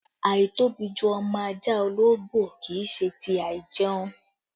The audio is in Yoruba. Àìtóbi ju ọmọ ajá ológbò kì í ṣe ti a àìjẹ̀un